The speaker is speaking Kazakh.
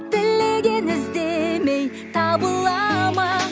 тілеген іздемей табыла ма